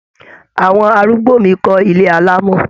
Àwọn arúgbó mi ko ilé alamo.